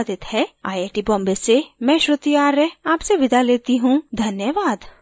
यह स्क्रिप्ट बिंदु पांडे द्वारा अनुवादित है आईआईटी बॉम्बे की ओर से मैं श्रुति आर्य अब आपसे विदा लेती हूँ धन्यवाद